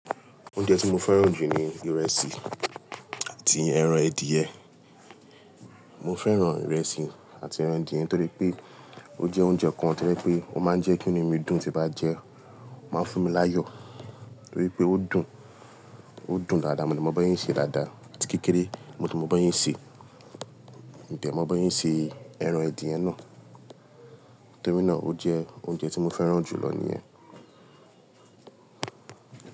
Oúnjẹ tí mo fẹ́ràn jù ni ìrẹsì àti ẹran edie Mo fẹ́ràn ìrẹsì àti ẹran edìẹ torí pé ó jẹ́ oúnjẹ kan tí ẹ pé ó máa ń jẹ́ kí nínú mi dùn tí bá jẹẹ́, ó máa ń fún mi láyọ̀ torí pé ó dùn, ó dùn dáadáa, mo dẹ̀ mọ bí wọ́n ṣè ń sé dáadáa àti kékeré, mo dẹ̀ mọ bí wọ́n ṣè ń sé, mo dẹ̀ mọ bí wọ́n ṣè ń sé ẹran ẹdìẹ náà. Torí náà ó jẹ́ oúnjẹ tí mo fẹ́ràn jù lọ níyẹn.